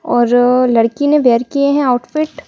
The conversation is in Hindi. और लड़की ने वेयर किए हैं आउटफिट --